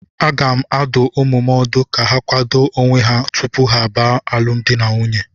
Aga m adụ ụmụ m ọdụ ka ha kwado onwe ha tupu ha baa alụm di na nwunye